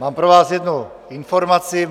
Mám pro vás jednu informaci.